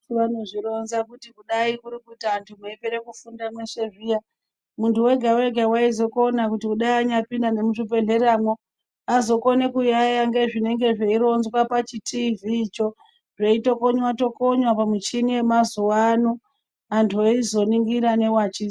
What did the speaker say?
Vese vanozvi ronza kuti kudai kuri kuti antu eyipera kufunda meshe zviya muntu wega wega aizokona kuti anyadai apinda nge mu zvibhedhlera mwo azokone ku yaya ngezvinenge zvei rodzwa pa chi tivhi cho zvei tokonywa tokonywa pa muchini we mazuvano anto eizo ningira ne wachi.